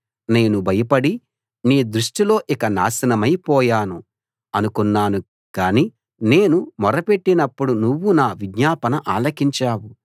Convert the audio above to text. నేను భయపడి నీ దృష్టిలో ఇక నాశనమై పోయాను అనుకున్నాను కానీ నేను మొరపెట్టినప్పుడు నువ్వు నా విజ్ఞాపన ఆలకించావు